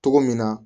Cogo min na